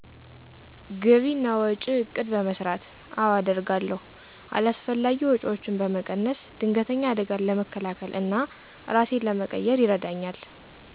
ግቢ እና ወጭ እቅድ በመሰራት። አወ አደርጋለሁ። አላስፈላጊ ወጪወችን በመቀነስ። ድንገተኝ አደጋን ለመከላከል እና እራሴን ለመቅየር ይረዳኝል።